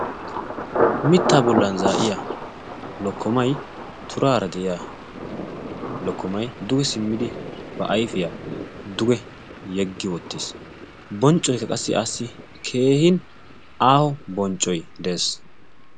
mitta bollan zaa'iya lokkomai turaara de'iya lokkomay duge simmidi ba ayfiyaa duge yeggi oottiis bonccoykka qassi asi keehin aaho bonccoy de'ees